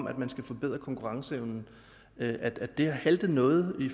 at man skulle forbedre konkurrenceevnen har haltet noget i